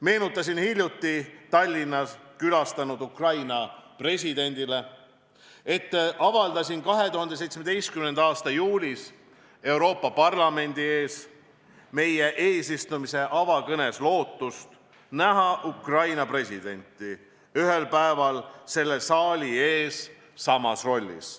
Meenutasin hiljuti Tallinnat külastanud Ukraina presidendile, et avaldasin 2017. aasta juulis Euroopa Parlamendi ees meie eesistumise avakõnes lootust näha Ukraina presidenti ühel päeval selle saali ees samas rollis.